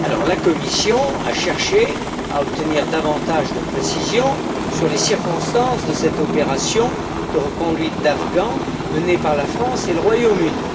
La Commission a cherché à obtenir davantage de précisions sur les circonstances de cette opération de reconduite d'Afghans menée par la France et par le Royaume Uni.